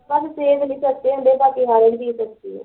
ਸਾਨੂੰ ਸੇਬ ਨੀ ਸਸਤੇ ਹੁੰਦੇ ਬਕੀ ਸਾਰੀ ਚੀਜ਼ ਸਸਤੀ ਐ